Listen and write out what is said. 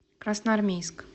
красноармейск